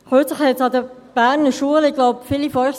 Kürzlich gab es an den Berner Schulen einen Besuchstag.